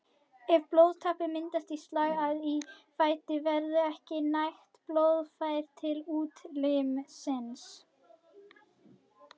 Ef blóðtappi myndast í slagæð í fæti verður ekki nægt blóðflæði til útlimsins.